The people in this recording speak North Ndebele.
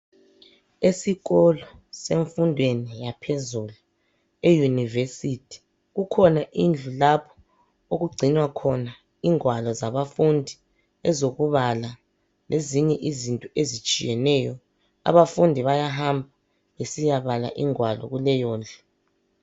Esikolo semfundo yaphezulu eYunivesi kukhona indlu lapho okugcinwa ingwalo zabafundi ezokubala lezinye izinto ezitshiyeneyo , abafundi bayahamba besiyabala ingwalo kuleyondlu.